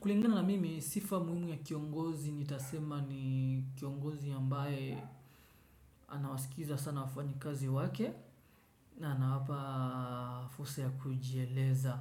Kulingana na mimi sifa muhimu ya kiongozi nitasema ni kiongozi ambaye anawasikiliza sana wafanyi kazi wake na anawapa fursa ya kujieleza.